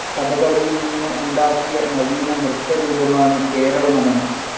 കഥകളിയിൽ നിന്ന്‌ ഉണ്ടാക്കിയ നവീന നൃത്തരൂപമാണ്‌ കേരള നടനം.